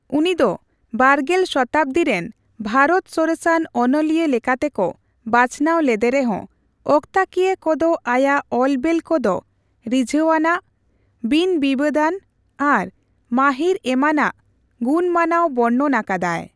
ᱩᱱᱤᱫᱚ ᱵᱟᱨᱜᱮᱞ ᱥᱚᱛᱟᱵᱽᱫᱤ ᱨᱮᱱ ᱵᱷᱟᱨᱚᱛ ᱥᱚᱨᱮᱥᱟᱱ ᱚᱱᱚᱞᱤᱭᱟᱹ ᱞᱮᱠᱟᱛᱮᱠᱚ ᱵᱟᱪᱷᱱᱟᱹᱣ ᱞᱮᱫᱮᱨᱮᱦᱚᱸ, ᱚᱠᱛᱟᱠᱤᱭᱟᱹ ᱠᱚᱫᱚ ᱟᱭᱟᱜ ᱚᱞ ᱵᱮᱞ ᱠᱚᱫᱚ ᱨᱤᱡᱷᱟᱣᱟᱱᱟᱜ, ᱵᱤᱱᱼᱵᱤᱵᱟᱹᱫᱟᱱ, ᱟᱨ ᱢᱟᱹᱦᱤᱨ ᱮᱢᱟᱱᱟᱜ ᱜᱩᱱᱩᱢᱟᱱᱟᱜ ᱵᱚᱨᱱᱚᱱ ᱟᱠᱟᱫᱟᱭ᱾